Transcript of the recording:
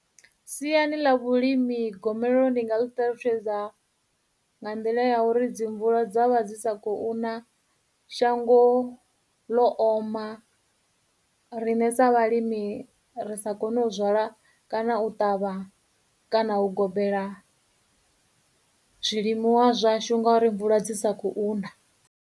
siani ḽa vhulimi gomelelo ndi nga mu ṱalutshedza nga nḓila ya uri dzi mvula dza vha dzi sa khou na shango ḽo oma riṋe sa vhalimi ri sa kone u zwala kana u ṱavha kana u gobela zwilimiwa zwashu nga uri mvula dzi sa khou na